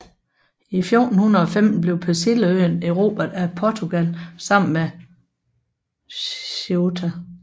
I 1415 blev Persilleøen erobret af Portugal sammen med Ceuta